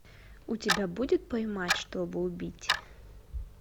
у тебя будет поймать чтобы убить